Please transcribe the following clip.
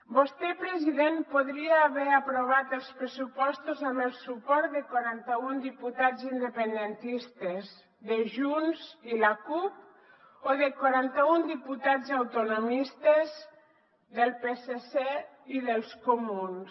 vostè president podria haver aprovat els pressupostos amb el suport de quaranta un diputats independentistes de junts i la cup o de quaranta un diputats autonomistes del psc i dels comuns